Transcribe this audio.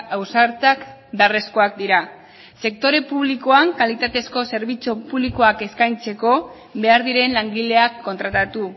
ausartak beharrezkoak dira sektore publikoan kalitatezko zerbitzu publikoak eskaintzeko behar diren langileak kontratatu